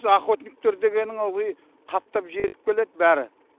охотниктер дегенің ылғи қаптап жетіп келеді бәрі